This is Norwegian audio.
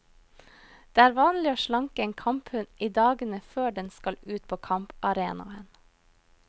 Det er vanlig å slanke en kamphund i dagene før den skal ut på kamparenaen.